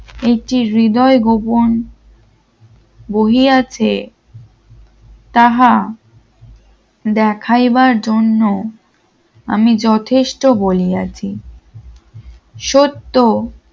একটি হৃদয় ভুবন বহি আছে তাহা দেখাইবার জন্য আমি যথেষ্ট বলিয়াছি সত্য